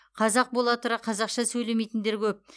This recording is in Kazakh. қазақ бола тұра қазақша сөйлемейтіндер көп